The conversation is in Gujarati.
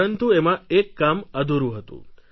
પરંતુ એમાં એક કામ અધૂરું હતું